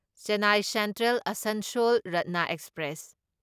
Chennai central Asansol ꯔꯠꯅꯥ express